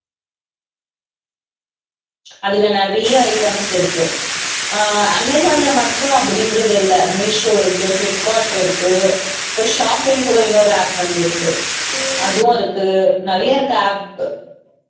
அதுல நிறைய items இருக்கு ஆஹ் அமேசான்ல மட்டும் அப்படின்றது இல்லை மீசோ இருக்கு பிளிப்க்கார்ட் இருக்கு இப்ப shopping கூட இன்னொரு app வந்திருக்கு அதுவும் அதுக்கு நிறையா இருக்கு app